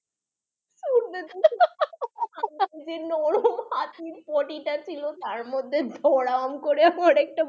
potty টা ছিল তার মধ্যে ধরাম করে পড়ে গেছে